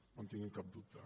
no en tingui cap dubte